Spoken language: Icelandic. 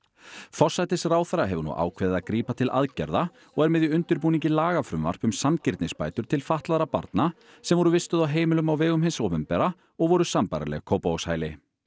forsætisráðherra hefur nú ákveðið að grípa til aðgerða og er með í undirbúningi lagafrumvarp um sanngirnisbætur til fatlaðra barna sem voru vistuð á heimilum á vegum hins opinbera og voru sambærileg Kópavogshæli